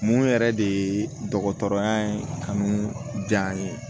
Mun yɛrɛ de ye dɔgɔtɔrɔya ye kanu jan n ye